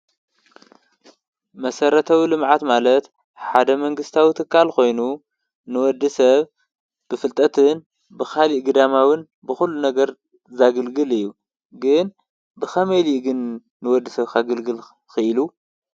መሰረታዊ ልምዓት ማለት ሓደ መንግስታዊ ትካል ኮይኑ ንወዲ ሰብ ብፍልጠትን ካሊእ ግዳማዊ ብኹሉ ነገር ዘገልግል እዩ። ግን ብከመይ ኢሉ ዩ ግን ንወዲ ሰብ ከገልግል ክኢሉ?